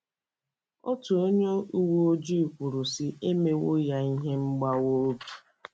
Otu onye uwe ojii kwuru, sị: “ E mewo ya ihe mgbawa obi.